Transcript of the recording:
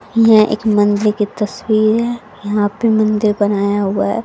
यह एक मंदिर की तस्वीर है यहां पे मंदिर बनाया हुआ है।